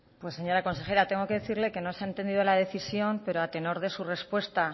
pues señora consejera tengo que decirle que no se ha entendido la decisión pero a tenor de su respuesta